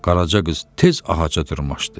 Qaraca qız tez ağaca dırmaşdı.